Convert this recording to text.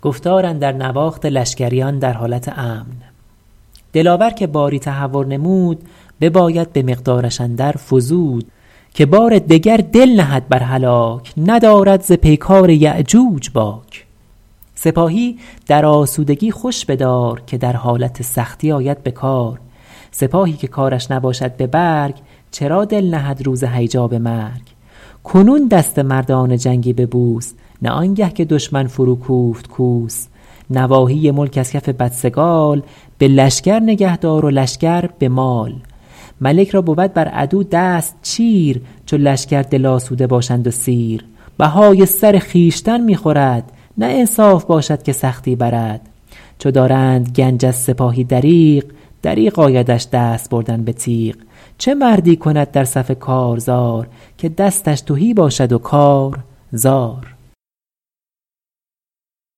دلاور که باری تهور نمود بباید به مقدارش اندر فزود که بار دگر دل نهد بر هلاک ندارد ز پیکار یأجوج باک سپاهی در آسودگی خوش بدار که در حالت سختی آید به کار سپاهی که کارش نباشد به برگ چرا دل نهد روز هیجا به مرگ کنون دست مردان جنگی ببوس نه آنگه که دشمن فرو کوفت کوس نواحی ملک از کف بدسگال به لشکر نگه دار و لشکر به مال ملک را بود بر عدو دست چیر چو لشکر دل آسوده باشند و سیر بهای سر خویشتن می خورد نه انصاف باشد که سختی برد چو دارند گنج از سپاهی دریغ دریغ آیدش دست بردن به تیغ چه مردی کند در صف کارزار که دستش تهی باشد و کار زار